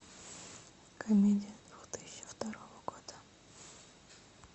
комедия две тысячи второго года